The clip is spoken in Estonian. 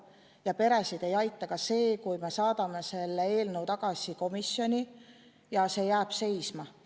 Ja peresid ei aita ka see, kui me saadame eelnõu tagasi komisjoni ja see jääb seisma.